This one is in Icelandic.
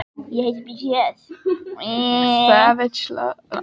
Karldýrin eru nokkuð stærri og vöðvameiri en kvendýrin.